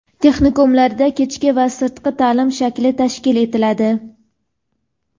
Texnikumlarda kechki va sirtqi ta’lim shakli tashkil etiladi.